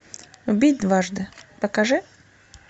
убить дважды покажи